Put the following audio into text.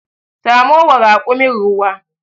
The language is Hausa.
Samo wa rakumin ruwa.